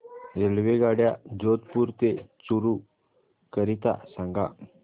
रेल्वेगाड्या जोधपुर ते चूरू करीता सांगा